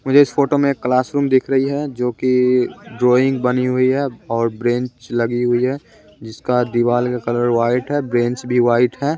मुझे इस फोटो में एक क्लासरूम दिख रही है जो कि ड्राइंग बनी हुई है और ब्रेंच लगी हुई है जिसका दीवाल का कलर वाइट है ब्रेंच भी वाइट है।